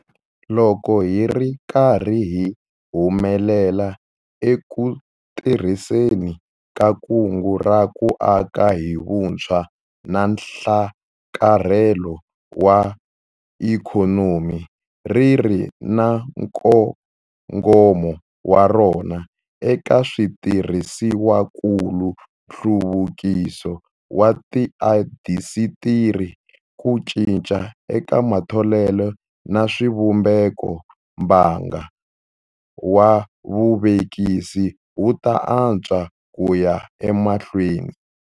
Loko hi ri karhi hi humelela eku tirhiseni ka Kungu ra ku Aka hi Vutshwa na Nhlakarhelo wa Ikhonomi - ri ri na nkongomo wa rona eka switirhisiwakulu, nhluvukiso wa tiindasitiri, ku cinca eka matholelo na swivumbeko - mbangu wa vuvekisi wu ta antswa ku ya emahlweni.